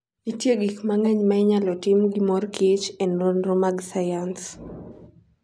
Nitie gik mang'eny ma inyalo tim gi mor kich e nonro mag sayans.